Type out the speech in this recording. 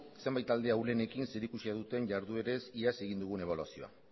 zenbait talde ahulenekin zerikusia duten jarduerez iaz egin dugun ebaluazioa